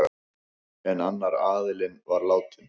En annar aðilinn var látinn.